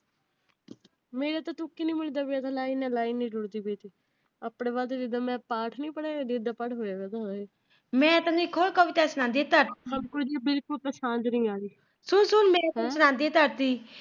ਮੇਰਾ ਤਾਂ ਤੁਕ ਈ ਨਹੀਂ ਮਿਲਦਾ ਪਿਆ ਨਾਲੇ ਨਜ਼ਾਰੇ ਨਾਲ ਪੜ੍ਹਦੀ ਪਈ ਸੀ। ਆਪਣੇ ਮੈ ਪਾਠ ਨਹੀਂ ਪੜਿਆ